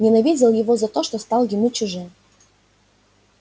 ненавидел его за то что стал ему чужим